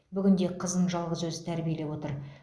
бүгінде қызын жалғыз өзі тәрбиелеп отыр